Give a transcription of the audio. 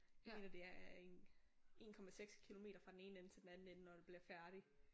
Jeg mener det er en 1,6 kilometer fra den ene ende til den anden ende når det bliver færdigt